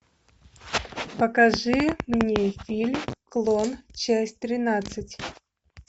покажи мне фильм клон часть тринадцать